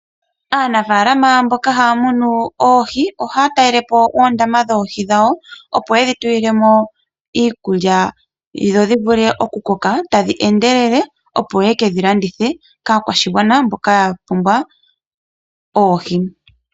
Aanafaalama mboka haya munu oohi ohaya talele po oondama dhoohi dhawo, opo yedhi tulile mo iikulya dho dhi vule oku koka tadhi endelele, opo yeke dhi landithe kaakwashigwana mboka ya pumbwa oohi.